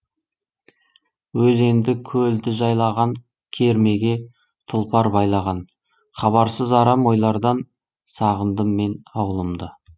өзенді көлді жайлаған кермеге тұлпар байлаған хабарсыз арам ойлардан сағындым мен аулымды